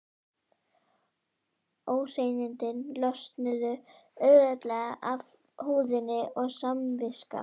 Óhreinindin losnuðu auðveldlega af húðinni og samviska